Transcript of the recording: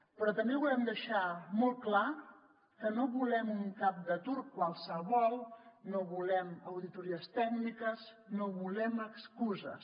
però també volem deixar molt clar que no volem un cap de turc qualsevol no volem auditories tècniques no volem excuses